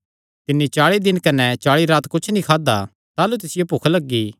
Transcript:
तिन्नी चाल़ी दिन कने चाल़ी रात कुच्छ नीं खादा ताह़लू तिसियो भुख लग्गी